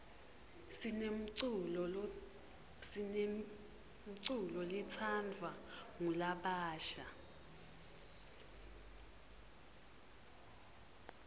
sinemculo letsandvwa ngulabasha